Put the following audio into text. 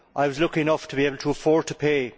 I was lucky enough to be able to afford to pay.